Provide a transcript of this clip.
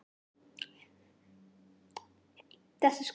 Hún var fullkomnust andhverfa, sem við þekktum, við Svartaskóla.